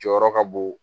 Jɔyɔrɔ ka bon